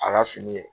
A ka fini kɛ